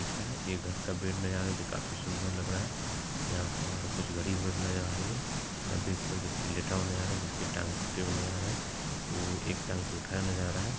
दिख रहा ये घर का बेड नया है जो की काफी सुन्दर लग रहा है यहाँ पर कुछ आ रही है यहां बेड पर व्यक्ति लेटा हुआ नजर आ है जिसके टांग टूटे हुए नजर आ रहे है और एक टाँग को उठाया हुआ नजर आ रहा है।